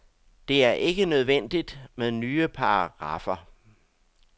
Det er ikke nødvendigt med nye paragraffer.